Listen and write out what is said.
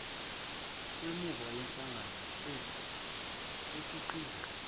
wemvume yenhlangano ekhiqizayo